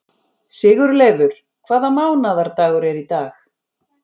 Sigurleifur, hvaða mánaðardagur er í dag?